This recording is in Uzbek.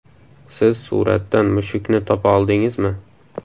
Siz suratdan mushukni topa oldingizmi?